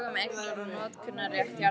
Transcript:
Lög um eignar- og notkunarrétt jarðhita.